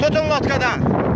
Tutun lodkadan.